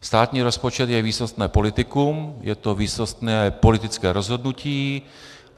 Státní rozpočet je výsostné politikum, je to výsostné politické rozhodnutí.